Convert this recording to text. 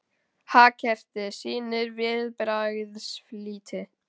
Hagkerfið sýnir viðbragðsflýti